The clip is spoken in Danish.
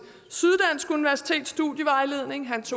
syddansk universitets studievejledning